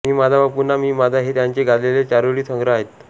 मी माझा व पुन्हा मी माझा हे त्यांचे गाजलेले चारोळी संग्रह आहेत